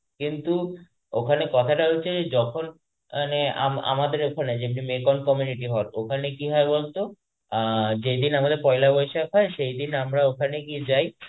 কিন্তু ওখানে কথাটা হচ্ছে যখন মানে আমা~ আমাদের ওখানে যেহেতু bengal community হয় ওখানে কি হয় বলতো আ যেদিন আমাদের পয়লা বৈশাখ হয় সেদিন আমরা ওখানে গিয়ে যাই,